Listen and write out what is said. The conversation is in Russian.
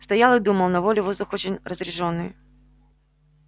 стоял и думал на воле воздух очень разреженный